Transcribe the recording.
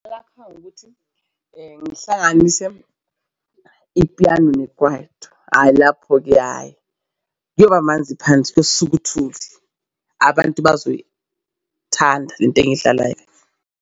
Ukuthi ngihlanganise ipiyano nekwaito, hhayi lapho-ke hhayi kuyobamanzi phansi. Kusuke uthuli abantu bazoyithanda le nto engiyidlalayo.